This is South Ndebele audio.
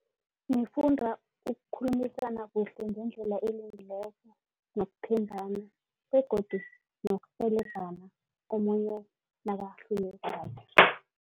Sifunda ukukhulumisana kuhle ngendlela elungileko nokuthembana begodu nokurhelebhana omunye nakahlulekako.